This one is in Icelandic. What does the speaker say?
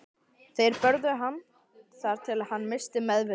Þeir börðu hann þar til hann missti meðvitund.